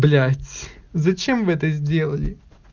блять зачем вы это сделали